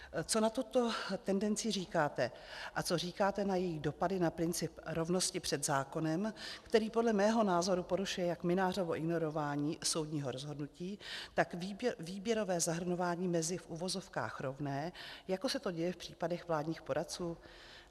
Co na tuto tendenci říkáte a co říkáte na její dopady na princip rovnosti před zákonem, který podle mého názoru porušuje jak Mynářovo ignorování soudního rozhodnutí, tak výběrové zahrnování mezi v uvozovkách rovné, jako se to děje v případech vládních poradců?